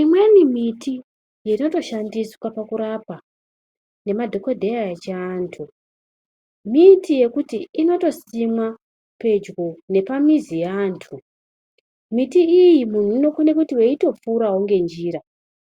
Imweni miti inotoshandiswa pakurapa nemadhokodheya echiantu miti yekuti inotosimwa pedyo nepamizi yeantu, miti iyi munhu unokone kuti eitopfurawo nenjira